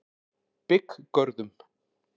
Bygggörðum